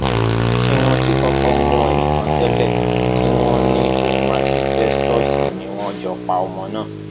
ṣé wọn ti kọkọ mú ẹnìkan tẹlẹ tí wọn ní òun àti festus ni wọn jọ pa ọmọ náà